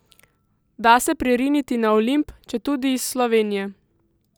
Da se pririniti na Olimp, četudi iz Slovenije.